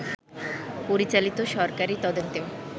পরিচালিত সরকারী তদন্তেও